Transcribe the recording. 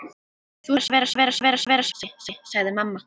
Þú ert búin að vera svo lengi, sagði mamma.